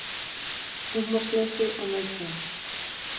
Húmorsleysi og neikvæðni